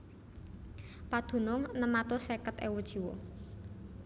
Padunung enem atus seket ewu jiwa